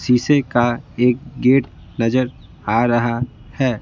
शीशे का एक गेट नजर आ रहा है।